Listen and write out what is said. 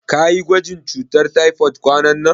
Kayi gwajin cutar taifod kwananan?